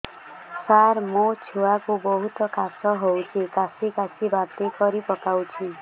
ସାର ମୋ ଛୁଆ କୁ ବହୁତ କାଶ ହଉଛି କାସି କାସି ବାନ୍ତି କରି ପକାଉଛି